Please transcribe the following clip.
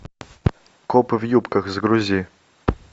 копы в юбках загрузи